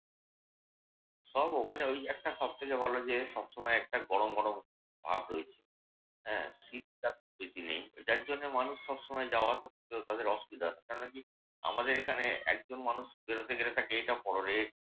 সব ওখানে একটা ওই একটা সবথেকে ভালো যে সবসময় একটা গরম গরম ভাব রয়েছে। হ্যাঁ? শীতকাল বেশি নেই। যার জন্যে মানুষ সবসময় যাওয়া আসা করতে তাদের অসুবিধা হয় না। কেননা আমাদের এখানে একজন মানুষ বেরোতে গেলে এটা পড়োরে